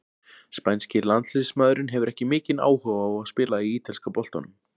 Spænski landsliðsmaðurinn hefur ekki mikinn áhuga á að spila í ítalska boltanum.